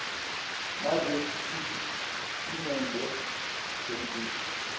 nalesi sitatimende semfihlo